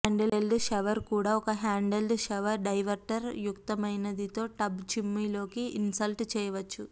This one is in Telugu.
హ్యాండ్హెల్డ్ షవర్ కూడా ఒక హ్యాండ్హెల్డ్ షవర్ డైవర్టర్ యుక్తమైనది తో టబ్ చిమ్ము లోకి ఇన్స్టాల్ చేయవచ్చు